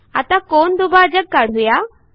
आता कोनदुभाजक काढू या